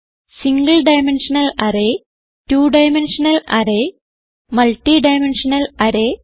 single dimensional array two dimensional array multi dimensional array